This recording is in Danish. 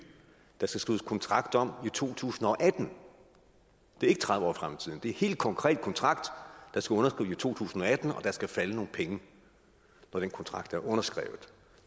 der skal skrives kontrakt om i 2018 det er ikke tredive år frem i tiden det er helt konkret en kontrakt der skal underskrives i to tusind og atten og der skal falde nogle penge når den kontrakt er underskrevet